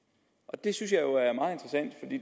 det synes jeg